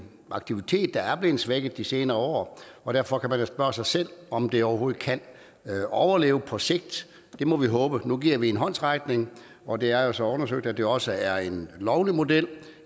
aktivitet der er blevet svækket i de senere år og derfor kan man spørge sig selv om den overhovedet kan overleve på sigt det må vi håbe nu giver vi den en håndsrækning og det er jo så undersøgt at det også er en lovlig model